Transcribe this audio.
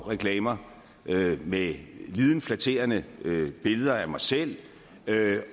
reklamer med lidet flatterende billeder af mig selv